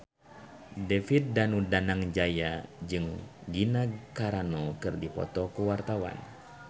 David Danu Danangjaya jeung Gina Carano keur dipoto ku wartawan